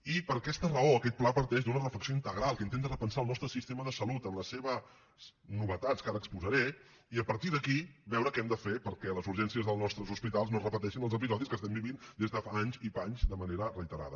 i per aquesta raó aquest pla parteix d’una reflexió integral que intenta repensar el nostre sistema de salut en les seves novetats que ara exposaré i a partir d’aquí veure què hem de fer perquè a les urgències dels nostres hospitals no es repeteixin els episodis que estem vivint des de fa anys i panys de manera reiterada